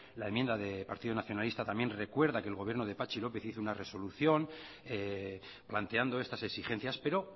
la enmienda de partido nacionalista también recuerda que el gobierno de patxi lópez hizo una resolución planteando estas exigencias pero